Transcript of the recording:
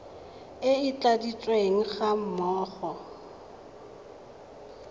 e e tladitsweng ga mmogo